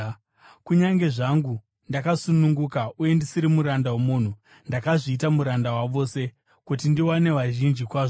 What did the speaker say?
Kunyange zvangu ndakasununguka uye ndisiri muranda womunhu, ndakazviita muranda wavose, kuti ndiwane vazhinji kwazvo.